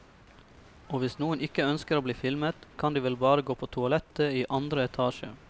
Og hvis noen ikke ønsker å bli filmet, kan de vel bare gå på toalettet i andre etasje.